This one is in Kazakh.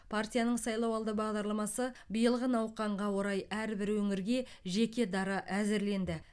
партияның сайлауалды бағдарламасы биылғы науқанға орай әрбір өңірге жеке дара әзірленді